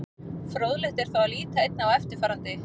Fróðlegt er þó að líta einnig á eftirfarandi.